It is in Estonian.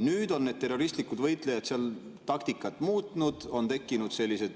Nüüd on terroristlikud võitlejad seal taktikat muutnud, on tekkinud sellised